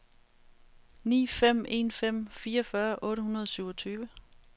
ni fem en fem fireogfyrre otte hundrede og syvogtyve